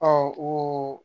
o